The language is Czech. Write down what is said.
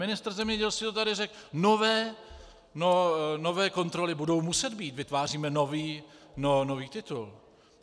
Ministr zemědělství to tady řekl - nové kontroly budou muset být, vytváříme nový titul.